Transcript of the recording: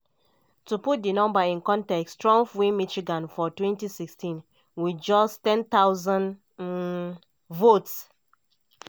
to put di number in context trump win michigan for 2016 wit just 10000 um votes.